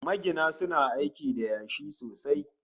Magina suna aiki da yashi sosai